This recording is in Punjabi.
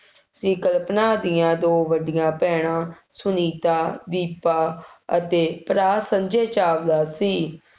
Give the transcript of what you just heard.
ਸੀ ਕਲਪਨਾ ਦੀਆਂ ਦੋ ਵੱਡੀਆ ਭੈਣਾਂ, ਸੁਨੀਤਾ, ਦੀਪਾ ਅਤੇ ਭਰਾ ਸੰਜੇ ਚਾਵਲਾ ਸੀ,